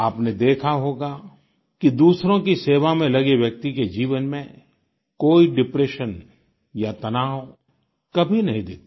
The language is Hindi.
आपने देखा होगा कि दूसरों की सेवा में लगे व्यक्ति के जीवन में कोई डिप्रेशन या तनाव कभी नहीं दिखता